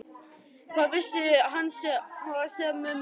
Hvað vissi hann svo sem um hana?